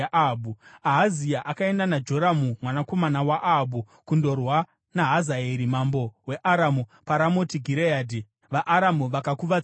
Ahazia akaenda naJoramu mwanakomana waAhabhu kundorwa naHazaeri, mambo weAramu, paRamoti Gireadhi. VaAramu vakakuvadza Joramu;